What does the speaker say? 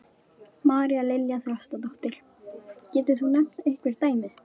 María Lilja Þrastardóttir: Getur þú nefnt einhver dæmi?